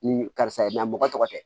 Ni karisa mɔgɔ tɔgɔ tɛ